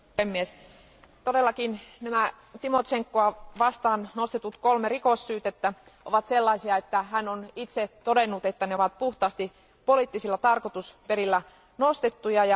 Arvoisa puhemies, todellakin nämä Tymošenkoa vastaan nostetut kolme rikossyytettä ovat sellaisia, että hän on itse todennut, että ne ovat puhtaasti poliittisilla tarkoitusperillä nostettuja.